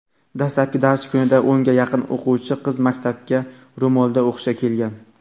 dastlabki dars kunida o‘nga yaqin o‘quvchi qiz maktabga ro‘molda o‘qishga kelgan.